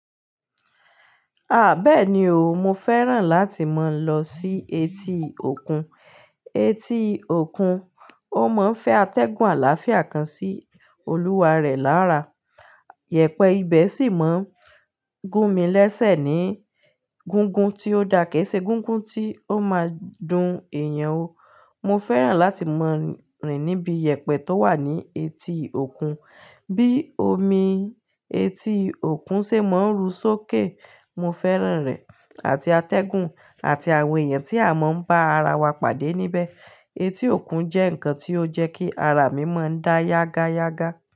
Àbẹ́ẹ̀ni o, mo fẹ́ràn láti mọ lọ sí etí òkun. Etí òkun ó máa ń fẹ́ atẹ́gùn àlàáfíà kan sí olúwa rẹ̀ lára. Yẹ̀pẹ ibẹ̀ sì máa ń gún mi lẹ́sẹ ní gungun tí ó da, kìí ṣe gungun tí ó máa dun èèyàn o. Mo fẹ́ràn láti mọ rìn níbi yẹ̀pẹ tó wà ní etí òkun. Bí omi etí òkun ṣe máa ń ru sókè. Mo fẹ́ràn rẹ̀ àti atẹ́gùn àti àwọn èèyàn tí a máa ń bá ara wa pàdé níbẹ̀. Etí òkun jẹ́ nǹkan tí ó ń jẹ́ kí ara mi máa ń dá yágáyágá.